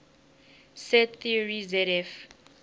set theory zf